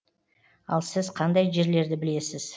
ал сіз қандай жерлерді білесіз